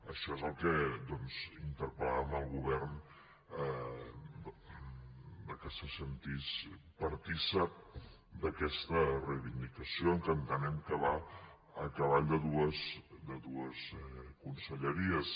això és el que doncs interpel·làvem al govern que se sentís partícip d’aquesta reivindicació que entenem que va a cavall de dues conselleries